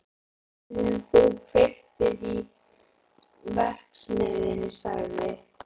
Kvöldið sem þú kveiktir í verksmiðjunni sagði